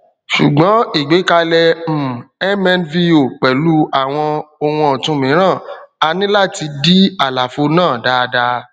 ṣùgbọn ìgbékalẹ um mnvo pẹlú àwọn ohun ọtun mìíràn a ní láti dí àlàfo náà dáadáa